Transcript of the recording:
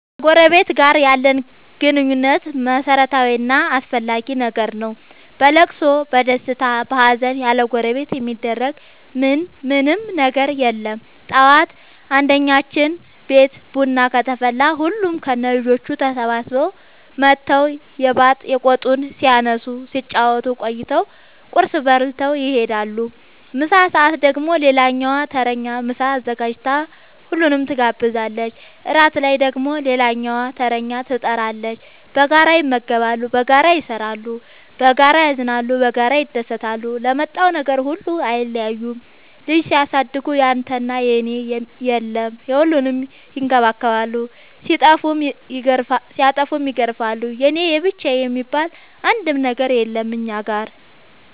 ከጎረበት ጋር ያለን ግንኙነት መረታዊ እና አስፈላጊ ነገር ነው። በለቅሶ በደስታ በሀዘን ያለጎረቤት የሚደረግ ምን ምንም ነገር የለም ጠዋት አንድኛችን ቤት ቡና ከተፈላ ሁሉም ከነ ልጆቹ ተሰብስበው መተው የባጥ የቆጡን ሲያነሱ ሲጫወቱ ቆይተው ቁርስ በልተው ይሄዳሉ። ምሳ ሰአት ደግሞ ሌላኛዋ ተረኛ ምሳ አዘጋጅታ ሁሉንም ትጋብዛለች። እራት ላይ ደግሞ ሌላኛዋተረኛ ትጣራለች። በጋራ ይመገባሉ በጋራ ይሰራሉ። በጋራ ያዝናሉ በጋራ ይደሰታሉ ለመጣው ነገር ሁሉ አይለያዩም ልጅ ሲያሳድጉ ያንተና የኔ የለም የሁሉንም ይከባከባሉ ሲጠፉም ይገርፋሉ የኔ የብቻዬ የሚባል አንድም ነገር የለም እኛ ጋር።